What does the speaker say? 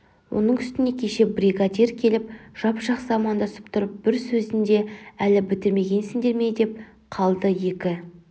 оның үстіне кеше бригадир келіп жап-жақсы амандасып тұрып бір сөзінде әлі бітірмегенсіндер ме деп қалды екі